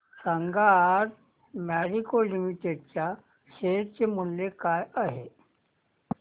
सांगा आज Marico limited च्या शेअर चे मूल्य काय आहे